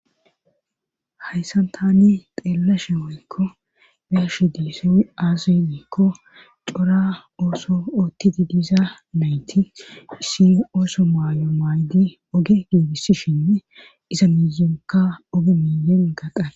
hayssan tani xeelashe moykko beshe deessoy aazinekko cora ooso oottidi diza nayti issi ooso maayo maaydi oge geebisishinne iza miyonka oge miyon gaqa